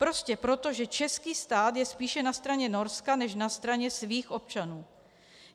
Prostě proto, že český stát je spíše na straně Norska než na straně svých občanů.